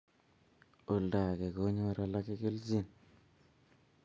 Oldake konyor alake kelchin